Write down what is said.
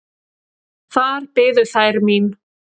Þar biðu þær mín.